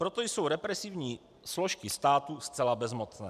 Proto jsou represivní složky státu zcela bezmocné.